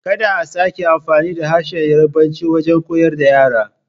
Kada a sake amfani da harshen Yarbanci wajen koyar da yara!